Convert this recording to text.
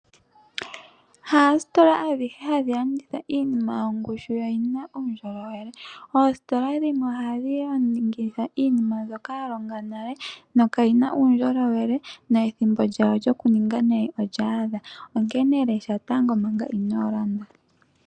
Haasitola adhihe hadhi landitha iinima yina ongushu yo oyina uundjolowele. Oositola dhimwe ohadhi landitha iinima yimwe mbyoka ya longa nale. Na kayina uundjolowele na ethimbo lyawo lyoku ninga nayi olya adha. Onkene lesha tango manga ino landa.